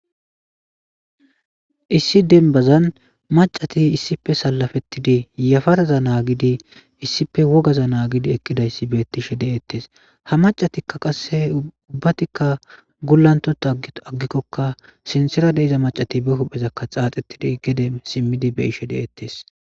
issi denbazan macati issife salafettidi yafaraza naagidi issife wogaza naagidi ekkidayssi beettishe de7ettes ha macatikka qasse ubbatikka gullantota aggikkokka sinsira deiza macati be huphezakka xaaxettidi gede simmidi be ishe de7ettes